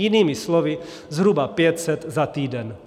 Jinými slovy zhruba 500 za týden .